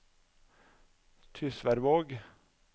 Tysværvåg